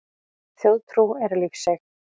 Þjóðtrú er lífseig.